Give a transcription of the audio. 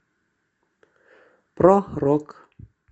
про рок